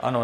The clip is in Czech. Ano.